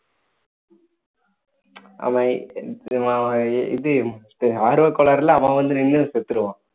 அவன் இவன் இது ஆர்வக்கோளாறுல அவன் வந்து நின்னு செத்துருவான்